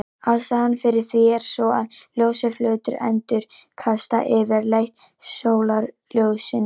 Ástæðan fyrir því er sú að ljósir hlutir endurkasta yfirleitt sólarljósinu.